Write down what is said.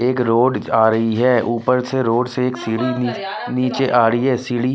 एक रोड आ रही है ऊपर से रोड से एक सीढ़ी नीचे आ रही है सीढ़ी--